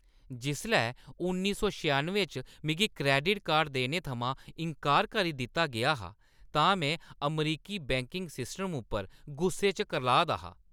जिसलै उन्नी सौ छिआनुएं च मिगी क्रैडिट कार्ड देने थमां इन्कार करी दित्ता गेआ हा तां में अमरीकी बैंकिंग सिस्टम उप्पर गुस्से च करलाऽ दा हा।